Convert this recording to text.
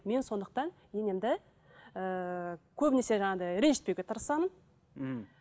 мен сондықтан енемді ыыы көбінесе жаңағындай ренжітпеуге тырысамын ммм